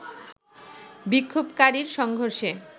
বিক্ষোভকারীর সংঘর্ষে